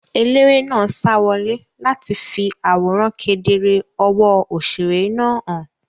Eléré náà sa wọlé láti fi àwòrán kedere ọwọ́ òṣèré náà hàn.